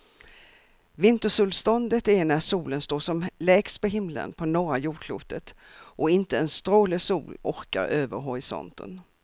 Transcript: Vintersolståndet är när solen står som lägst på himlen på norra jordklotet och inte en stråle sol orkar över horisonten.